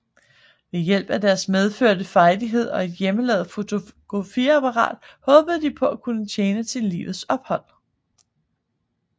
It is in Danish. Ved hjælp af deres medfødte frejdighed og et hjemmelavet fotografiapparat håber de at kunne tjene til livets ophold